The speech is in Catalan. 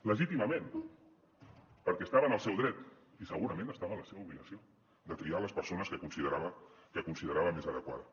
legítimament perquè estava en el seu dret i segurament estava en la seva obligació de triar les persones que considerava més adequades